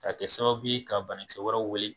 Ka kɛ sababu ye ka bana kisɛ wɛrɛw weele